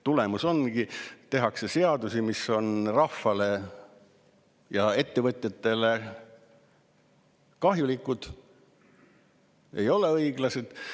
Tulemus ongi, et tehakse seadusi, mis on rahvale ja ettevõtjatele kahjulikud, ei ole õiglased.